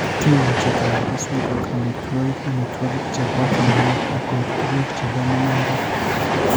Kimuuchi keyai keswek koek amitwogik, amitwogik che po tyong'ik, ak koek tuguuk che po mung'aaret.